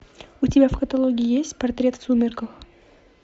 у тебя в каталоге есть портрет в сумерках